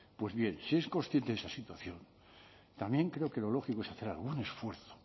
pues bien si es consciente de esa situación también creo que lo lógico es hacer algún esfuerzo